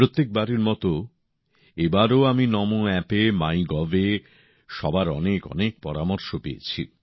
প্রত্যেক বারের মত এবারও আমি নমো অ্যাপে মাইগভে সবার অনেকঅনেক পরামর্শ পেয়েছি